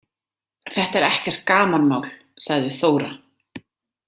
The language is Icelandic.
Þetta er ekkert gamanmál, sagði Þóra.